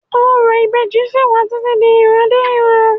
Orò ìbejì sí wà títí di ìran dé ìran